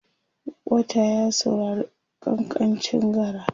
wata ya saurari kankancin gara?